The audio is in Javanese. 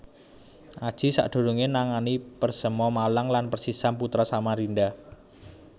Aji sadurungéé nangani Persema Malang lan Persisam Putra Samarinda